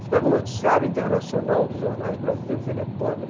Você pega o noticiário internacional dos jornais brasileiros, ele é pobre.